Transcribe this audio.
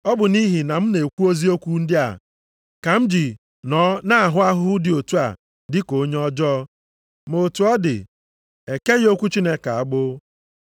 Ọ bụ nʼihi na m na-ekwu eziokwu ndị a ka m ji nọọ na-ahụ ahụhụ dị otu a dị ka onye ọjọọ, ma otu ọ dị, ekeghị okwu Chineke agbụ.